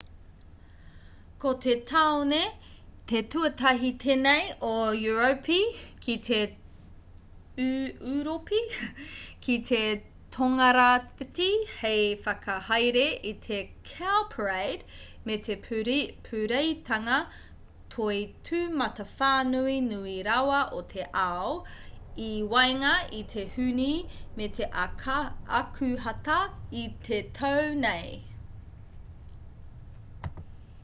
ko te tāone te tuatahi tēnei o europi ki te tongarāwhiti hei whakahaere i te cowparade me te pūreitanga toi tūmatawhānui nui rawa o te ao i waenga i te hūne me te akuhata i te tau nei